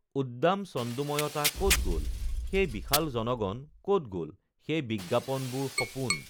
উদ্দাম ছন্দোময়তা ক'ত গল সেই বিশাল জণগণ ক'ত গল সেই বিজ্ঞাপনবোৰ সপোন